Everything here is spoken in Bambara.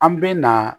An bɛ na